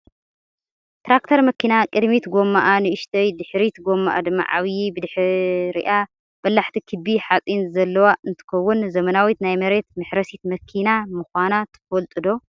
ትራክተር መኪና ቅድሚት ጎማኣ ንእሽተይ ድሕሪት ጎማኣ ድማ ዓብይ ብድሕሪኣ በላሕቲ ክቢ ሓፂን ዘለዋ እንትከውን፣ ዘመናዊት ናይ መሬት መሕረሲት መኪና ምኳና ትፈልጡ ዶ?